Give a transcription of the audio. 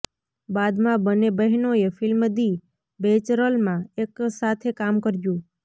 બાદમાં બંને બહેનોએ ફિલ્મ દી બૈચલરમાં એકસાથે કામ કર્યું